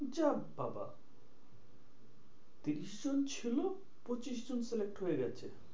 যাহ বাবা তিরিশ জন ছিল পঁচিশ জন select হয়ে গেছে।